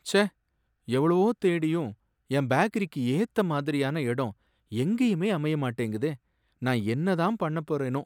ச்சே! எவ்ளோ தேடியும் என் பேக்கரிக்கு ஏத்த மாதிரியான இடம் எங்கேயுமே அமைய மாட்டேங்குதே, நான் என்ன தான் பண்ணப் போறேனோ!